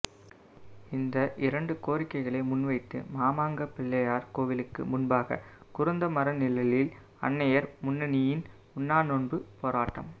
இந்த இரண்டு கோரிக்கைகளை முன்வைத்து மாமாங்கப் பிள்ளையார் கோவிலுக்கு முன்பாக குருந்தமர நிழலில் அன்னையர் முன்னணியின் உண்ணாநோன்புப் போராட்டம்